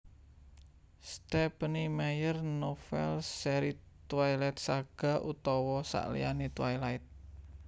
Stephenie Meyer novèl seri Twiligt Saga utawa sakliyané Twilight